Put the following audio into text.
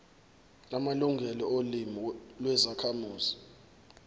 amalungelo olimi lwezakhamuzi